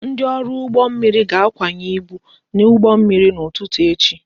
Ndị ọrụ ụgbọ mmiri ga-akwanye ibu n'ụgbọ mmiri n'ụtụtụ echi